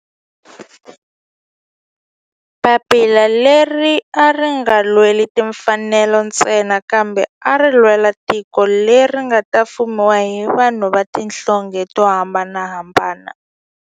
Papila leri a ri nga lweli timfanelo ntsena kambe ari lwela tiko leri nga ta fumiwa hi vanhu va tihlonge to hambanahambana.